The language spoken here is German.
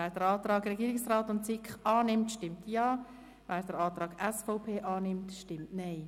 Wer den Antrag von SiK und Regierung annimmt, stimmt Ja, wer den Antrag SVP annimmt, stimmt Nein.